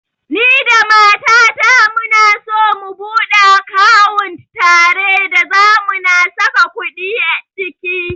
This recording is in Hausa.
Ni da mata ta muna so mu buɗe akawunt tare da zamu na saka kuɗi ciki